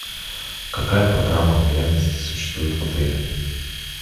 какая программа лояльности существует в отеле